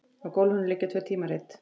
Á gólfinu liggja tvö tímarit.